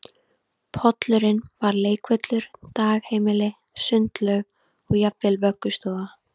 Pollurinn var leikvöllur, dagheimili, sundlaug og jafnvel vöggustofa